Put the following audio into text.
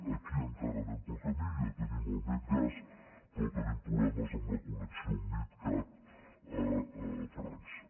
aquí encara anem pel camí ja tenim el medgaz però tenim problemes amb la connexió midcat a frança